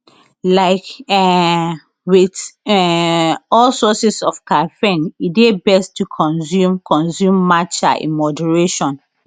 like um wit um all sources of caffeine e dey best to consume consume matcha in moderation